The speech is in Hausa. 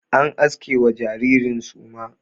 An aske wa jaririn suma.